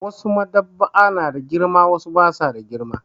Wasu Maɗ'aba'a na da girma wasu ba su da girma.